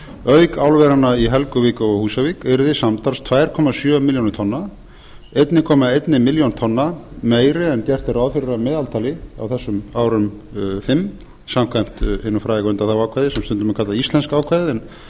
auk álveranna í helguvík og á húsavík yrði samtals tvö komma sjö milljónir tonna einn komma eina milljón tonna meiri en gert er ráð fyrir að meðaltali á þessum árum fimm samkvæmt hinu fræga undanþáguákvæði sem stundum er kallað íslenska ákvæðið